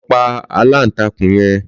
Lò pá àlántákún yèn